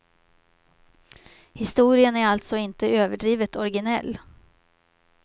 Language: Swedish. Historien är alltså inte överdrivet originell.